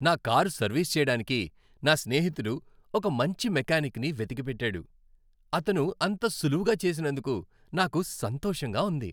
నా car service చేయడానికి నా స్నేహితుడు ఒక మంచి మెకానిక్ ని వెతికి పెట్టాడు, అతను అంత సులువుగా చేసినందుకు నాకు సంతోషంగా ఉంది.